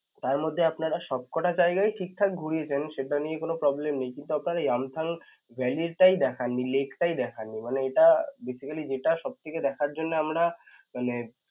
তারমধ্যে আপনারা সবকটা জায়গায় ঠিকঠাক ঘুরিয়েছেন সেটা নিয়ে কোন problem নেই কিন্তু আপনারা yumthang valley টাই দেখাননি lake টাই দেখাননি মানে এটা basically যেটা সবথেকে দেখার জন্যে আমরা মানে